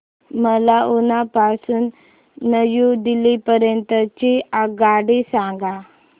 मला उना पासून न्यू दिल्ली पर्यंत ची आगगाडी सांगा